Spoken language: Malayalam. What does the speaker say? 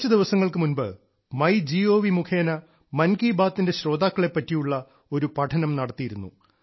കുറച്ചു ദിവസങ്ങൾക്കു മുൻപ് മൈ ഗോവ് മുഖേന മൻ കി ബാത്തിന്റെ ശ്രോതാക്കളെ പറ്റിയുള്ള ഒരു പഠനം നടത്തിയിരുന്നു